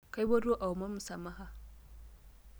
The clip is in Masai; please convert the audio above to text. Kipuoito aaomon msamaha.